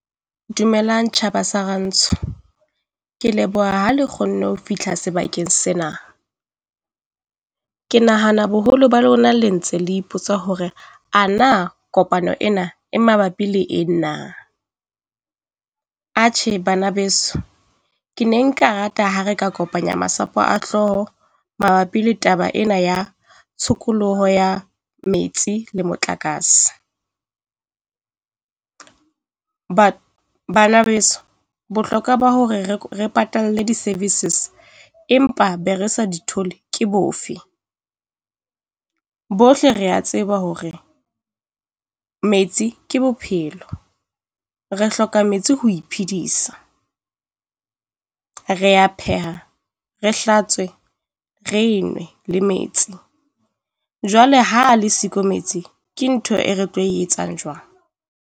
Dumelang tjhaba sa Rantsho, ke leboha ha le kgonne ho fihla sebakeng sena. Ke nahana boholo ba lona le ntse le ipotsa hore ana kopano ena e mabapi le eng na. Atjhe bana beso, ke ne nka rata ha re ka kopanya masapo a hlooho mabapi le taba ena ya tshokoloho ya metsi le motlakase. bana beso bohlokwa ba hore re patalle di-services empa be re sa di thole ke bofe? Bohle rea tseba hore metsi ke bophelo. Re hloka metsi ho iphedisa, re a pheha, re hlatswe, re nwe le metsi. Jwale ha le siko metsi ke ntho e re tlo e etsang jwang?